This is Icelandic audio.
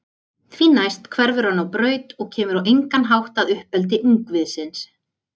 Því næst hverfur hann á braut og kemur á engan hátt að uppeldi ungviðisins.